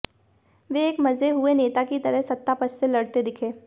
वे एक मंजे हुए नेता की तरह सत्ता पक्ष से लड़ते दिखे